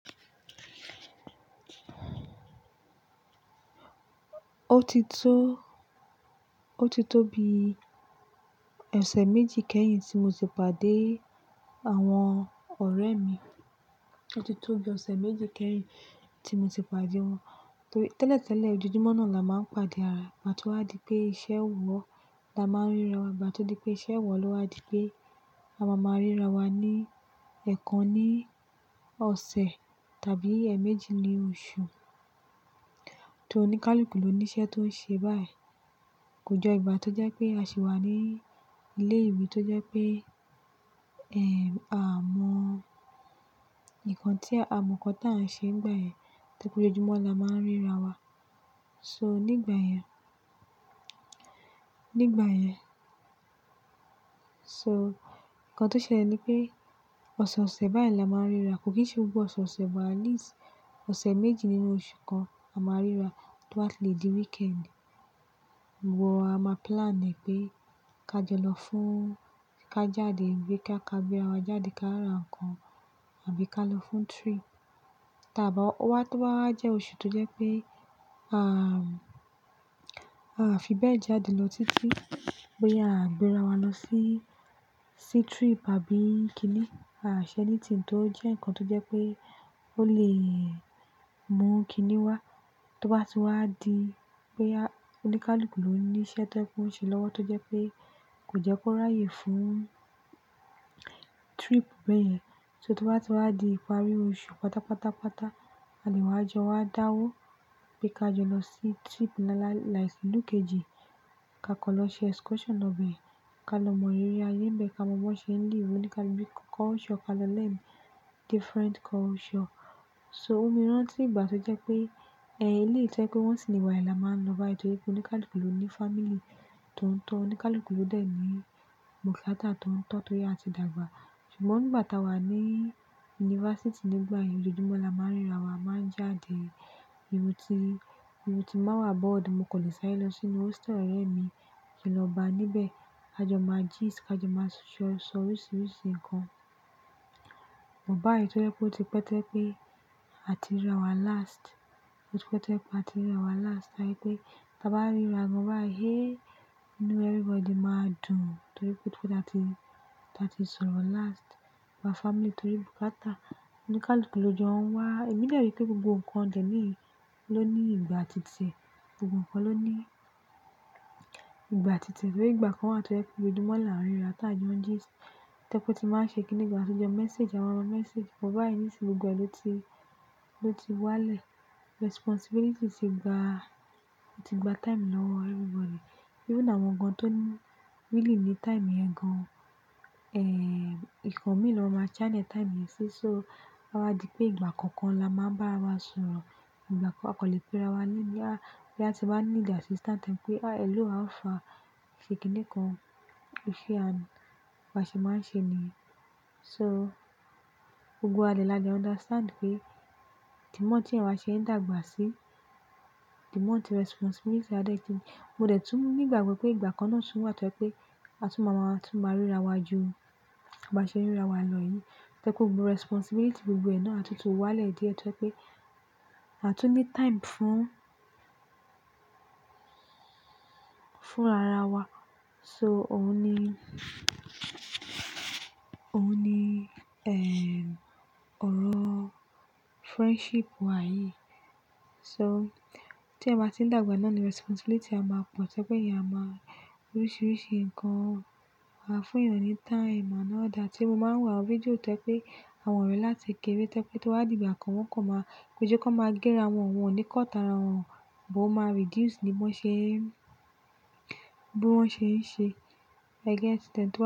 Ó ti tó, ó ti tó bi ọ̀sẹ̀ méjì kẹ́yìn tí mo ti pàdé àwọn ọ̀rẹ́ mi. Ó ti tó bi ọ̀sẹ̀ méjì kẹ́yìn tí mo ti pàdé wọn. Tẹ́lẹ̀ tẹ́lẹ̀, ojoojúmọ́ náà la máa ń pàdé ara wa tó wá di pé iṣẹ́ ò wọ̀ la máa ń ríra wa gbà tó di pé iṣẹ́ ò wọ̀ ló wá di pé àwa máa ń ríra wa ní ẹ̀ẹ̀kan ní ọ̀sẹ̀ tàbí ẹ̀ẹ̀méjì ní oṣù. Torí oníkálukú ló ní iṣẹ́ tó ń ṣe báyìí. Kò jọ ìgbà tó jẹ́ pé a sì wà ní ilé ìwé tó jẹ́ pé, ẹ́, a mọ ǹkan tí a mọ̀ kan táà ń ṣe nígbà yẹn torí pé ojoojúmọ́ la máa ń ríra wa. So nígbà yẹn, nígbà yẹn, so ǹkan tó ṣẹlẹ̀ ni pé ọ̀sọ̀ọ̀sẹ̀ báyìí la máa ń ríra. Kò kí n ṣe gbogbo ọ̀sọ̀ọ̀sẹ̀ bọ̀ àní sì ọ̀sẹ̀ méjì nínú oṣù kan a máa ríra tó bá le di weekend. Iwọ a máa plan ẹ̀ pé ká jọ lọ fún ká jáde ìgbé ká kábíà wá jáde ká ra ǹkan àbí ká lọ fún trip tàbí wá tó bá jẹ́ oṣù tó jẹ́ pé a, a fi bẹ́ẹ̀ jáde lọ títí pé a gbé ara wa lọ sí, sí trip àbí kílí. A ṣẹ́ nítìntò tó jẹ́ ǹkan tó jẹ́ pé ó lè mú kíní wá tó bá ti wá di pé a oníkálukú ló ní iṣẹ́ tó ń ṣe lọ́wọ́ tó jẹ́ pé kò jẹ́ kó ráyè fún trip bẹ́ẹ̀ yẹn. So tó bá ti wá di ìparí oṣù pátápátápátá a lè wá jọ wá dáwó pé ká jọ lọ sí trip náà láìsí ìlú kèjì ká kọ̀ lọ ṣe excursion lọ bẹ́ẹ̀ ká lọ mọ eré ayé bẹ́ẹ̀ ká mọ bó ṣe ń dì irú oníkálú bí culture ká lọ lè different culture. So ómi rántí ìgbà tó jẹ́ pé, ẹ́, ilé ìtẹ́ pé wọ́n sì ní wá yìí la máa ń lọ báyìí torí pé oníkálukú ló ní family tó ń tọ̀ oníkálukú ló dẹ̀ ní bukata tó ń tọ̀ tó yá ti dàgbà. Ṣùgbọ́n nígbà táa wà ní yunifásítì nígbà yẹn ojoojúmọ́ la máa ń ríra wa máa ń jáde. Ìrù ti, ìrù tí máa wà board mo kò lè sáré lọ sínú hostel ọ̀rẹ́ mi kì í lọ bá a níbẹ̀. A jọ máa gist a jọ máa sọ sọrọ̀ oríṣìíríṣìí ǹkan. Ò bá yìí tó jẹ́ pé ó ti pẹ́ tẹ́ pé a ti ríra wa last. Ó ti pẹ́ tẹ́ pé a ti ríra wa last láyé pé bá bá ríra gan báa yé, you know everybody máa dùn torí pé ó ti pẹ́ táa ti, táa ti sọ̀rọ̀ last. Wa family torí bukata oníkálukú ló jọ wá. Èmi lè rí pé gbogbo ǹkan jẹ́ ní ló ní ìgbà tìtẹ̀ gbogbo ǹkan ló ní ìgbà tìtẹ̀ torí ìgbà kan a tó ẹ́ pé ojoojúmọ́ la ń ríra táa jẹun gist tẹ́kún tí máa ṣe kíní gan a tó jẹun message a máa ra message. Ò bá yìí nísinsìnyí gbogbo ẹlẹ́ti ló ti, ló ti wá lè. Responsibility ti gba, ó ti gba time lọ́wọ́ everybody. Bí ó ná àwọn gan tó ni really ní time gan. Ẹ̀, ǹkan mìíràn máa channel time yẹn sí so wá di pé ìgbà kankan la máa ń bá ara wa sọ̀rọ̀. Ìgbà kan a kò lè pe ara wa léèní. A bí a ti bá ní need assistant pé ẹlú à fa ṣe kíní kan, ẹ̀ ṣe à ń, wa ṣe máa ń ṣe ni. So gbogbo wa lè la jẹ́ understand pé the more tí ẹ̀ wa ṣe ń dàgbà sí the more tí responsibility a dé tí. Mo dẹ̀ tún ní ìgbàgbọ́ pé ìgbà kan náà tún wá tẹ́ pé a tún máa máa tún máa ríra wa ju à bá ṣe ń ríra wa lọ yìí. Tẹ́kùn gbogbo responsibility gbogbo ẹnà àtún tún wá lè dí ẹ́ tẹ́ pé àtún ní time fún, fún ara wa. So òun ní, òun ní, ẹ́, ọ̀rọ̀ friendship wa yìí. So tí ẹ̀ máa ti ń dàgbà náà ni responsibility a máa pọ̀ tẹ́ pé ìyá máa oríṣìíríṣìí ǹkan wà fún èèyàn ní time and order. Tí mo máa ń wà àwọn fídíò tẹ́ pé àwọn ọ̀rẹ́ láti kéré tẹ́ pé tó wá di ìgbà kan wọ́n kò máa péjo kí wọ́n máa gé ara wọn wọn oníkọ̀ta ara wọn bó máa reduce ní bó ṣe ń, bó wọ́n ṣe ń ṣe. You get it?